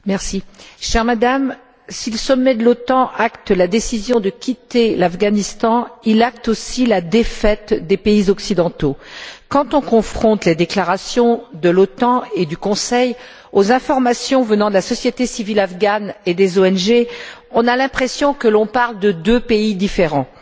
Monsieur le Président, chère Madame, si le sommet de l'OTAN acte la décision de quitter l'Afghanistan, il acte aussi la défaite des pays occidentaux. Quand on confronte les déclarations de l'OTAN et du Conseil aux informations venant de la société civile afghane et des ONG, on a l'impression que l'on parle de deux pays différents